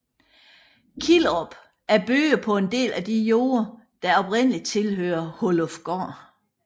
Killerup er bygget på en del af de jorder der oprindeligt tilhørte Hollufgård